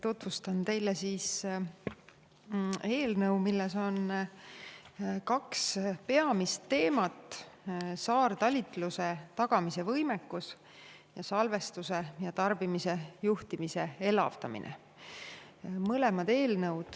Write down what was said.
Tutvustan teile eelnõu, milles on kaks peamist teemat: saartalitluse tagamise võimekus ning salvestuse ja tarbimise juhtimise elavdamine.